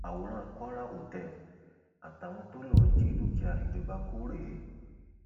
àwòrán kwara hotel àtàwọn tó lọọ jí dúkìá ìjọba kò rèé